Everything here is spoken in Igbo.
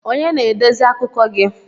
Onye na-edezi akụkọ gi?